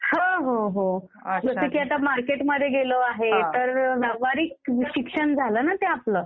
हो हो हो. जसं की आता मार्केटमध्ये गेलो आहे तर व्यावहारिक शिक्षण झालं ना ते आपलं.